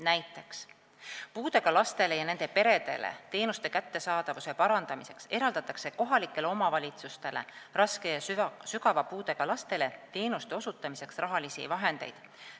Näiteks eraldatakse puudega lastele ja nende peredele osutatavate teenuste kättesaadavuse parandamiseks kohalikele omavalitsustele raske ja sügava puudega lastele teenuste osutamiseks rahalisi vahendeid.